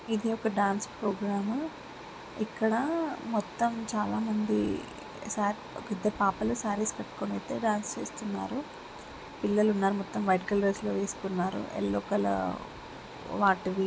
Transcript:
ఇది ఒక dance program ఇక్కడ మొత్తమ్ చాలా మంది సా ఒక ఇద్దరు పాపాలు సారస్ కట్టుకుని అయితే డాన్స్ చేస్తున్నారు పిల్లలు ఉన్నారు. మొత్తమ్ వైట్ కలర్ డ్రస్ లు వేసుకున్నారు యెల్లో కలర్ వాటివి --